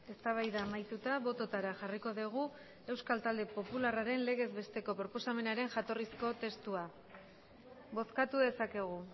eztabaida amaituta bototara jarriko dugu euskal talde popularraren legez besteko proposamenaren jatorrizko testua bozkatu dezakegu